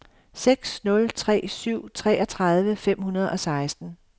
seks nul tre syv treogtredive fem hundrede og seksten